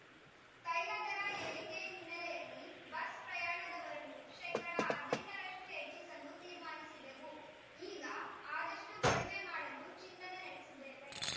ತೈಲ ದರ ಏರಿಕೆ ಹಿನ್ನೆಲೆಯಲ್ಲಿ ಬಸ್‌ ಪ್ರಯಾಣದರವನ್ನು ಶೇಕಡಾ ಹದಿನೆಂಟರಷ್ಟುಹೆಚ್ಚಿಸಲು ತೀರ್ಮಾನಿಸಿದ್ದೆವು ಈಗ ಆದಷ್ಟುಕಡಿಮೆ ಮಾಡಲು ಚಿಂತನೆ ನಡೆಸಿದ್ದೇವೆ